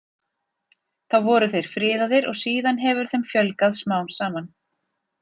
Þá voru þeir friðaðir og síðan hefur þeim fjölgað smám saman.